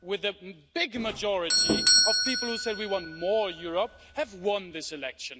with a big majority of people who said we want more Europe, have won this election.